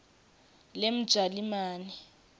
lemjalimane